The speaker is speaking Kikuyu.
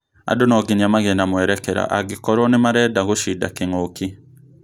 Andũ nonginya magĩe na mwerekera angĩkorwo nĩmarenda gũshinda kĩng'ũki